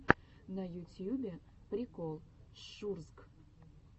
на ютьюбе прикол шурзг